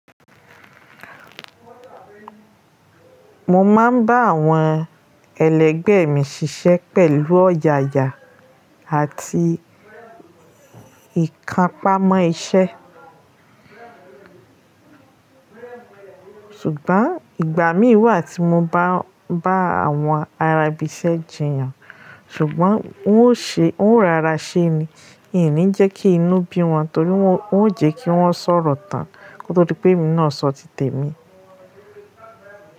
Mo máa ń bá àwọn ẹlẹgbẹ́ mi ṣiṣẹ́ pẹ̀lú ọ̀yàyà àti ìkápámọ́ iṣẹ́. Ṣùgbọ́n ìgbà mí wà tí mo bá bá àwọn ará ibi iṣẹ́ jiyàn, ṣùgbọ́n ùn ó rọra ṣe ni, mi ò ní jẹ́ kí inú bí wọn torí ùn ó jẹ́ kí wọ́n sọ̀rọ̀ tán kó tó dí pé èmi náà sọ tité mi.